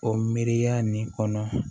O miiriya nin kɔnɔ